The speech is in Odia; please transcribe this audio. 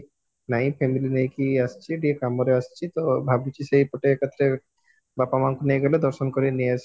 ନାଇଁ family ନେଇକି ଆସିଚି ଟିକେ କାମରେ ଆସିଚି ତ ଭାବୁଚି ସେଇପଟେ ଏକାଥରେ ବାପା ମାଙ୍କୁ ନେଇଗଲେ ଦର୍ଶନ କରିକି ନେଇଆସିବି